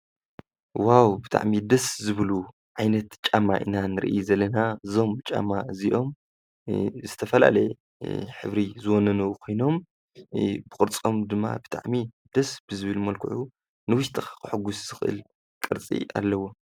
ዎዎ! ብጣዕሚ ደስ ዝብሉ ዓይነት ጫማ ኢና ንርኢ ዘለና እዞም ጫማ እዚኦም ዝተፈላለዩ ሕብሪ ዝወነኑ ኾይኖም ብቕርጾም ድማ ብጣዕሚ ደስ ብዝብል መልኩዑ ንዉሽጢ ከሕጉስ ዝክእል ቅርጺ ኣለዎ።